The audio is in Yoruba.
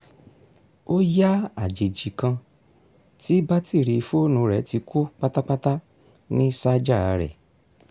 ó yá àjèjì kan tí batiri fóònù rẹ̀ ti kú pátápátá ní ṣájà rẹ̀